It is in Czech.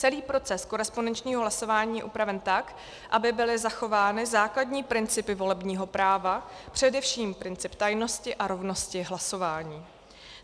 Celý proces korespondenčního hlasování je upraven tak, aby byly zachovány základní principy volebního práva, především princip tajnosti a rovnosti hlasování.